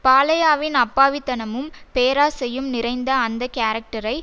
பாலையாவின் அப்பாவித்தனமும் பேராசையும் நிறைந்த அந்த கேரக்டரை